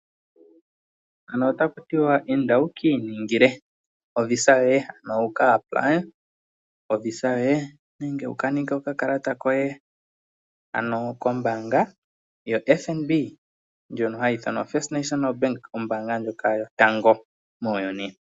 Inda wu kiiningile oVisa yoye ano, wu kuudhithile oVisa yoye nenge wukaninge okakalata koye kombanga yoFNB nyoka hayi ithanwa oFirst National Bank, ombaanga ndyoka yotango muuyuni.